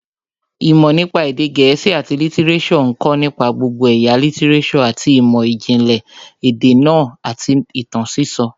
Ìmọ̀ nípa èdè gẹ̀ẹ́sì àti lítíréṣọ̀ ń kọ̀ nípa gbogbo ẹ̀yà lítíréṣọ̀ àti ìmọ̀ ìjìnlẹ̀ èdè náà àti ìtàn sísọ